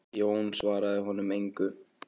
Jón svaraði honum engu.